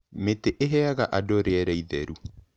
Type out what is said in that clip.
Mĩtĩ ĩheaga andũ rĩera itheru.